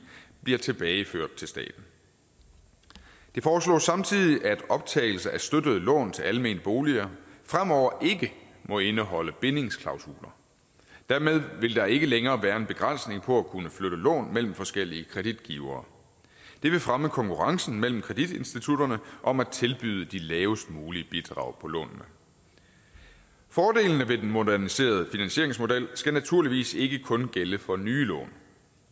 bliver tilbageført til staten det foreslås samtidig at optagelse af støttede lån til almene boliger fremover ikke må indeholde bindingsklausuler dermed vil der ikke længere være en begrænsning på at kunne flytte lån mellem forskellige kreditgivere det vil fremme konkurrencen mellem kreditinstitutterne om at tilbyde de lavest mulige bidrag på lånene fordelene ved den moderniserede finansieringsmodel skal naturligvis ikke kun gælde for nye lån